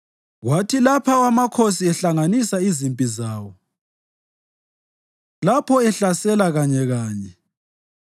Kwathi lapho amakhosi ehlanganisa izimpi zawo, lapho ehlasela kanyekanye,